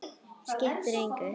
Skipti engu.